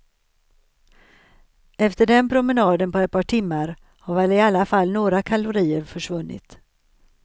Efter den promenaden på ett par timmar har väl i alla fall några kalorier försvunnit.